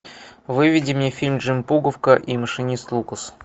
выведи мне фильм джим пуговка и машинист лукас